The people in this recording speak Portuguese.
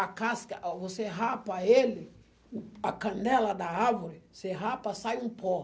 A casca, a você rapa ele, o a canela da árvore, você rapa, sai um pó.